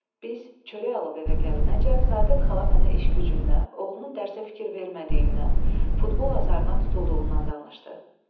Biz çörək alıb evə gəlinəcən Səadət xala mənə iş-gücündən, oğlunun dərsə fikir vermədiyindən, futbol azarına tutulduğundan danışdı.